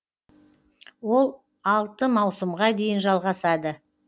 ол алты маусымға дейін жалғасады